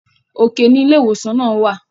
òkè ní ilé ìwòsàn náà wà